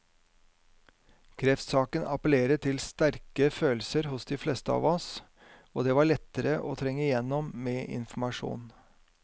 Kreftsaken appellerer til sterke følelser hos de fleste av oss, og det var lettere å trenge igjennom med informasjon.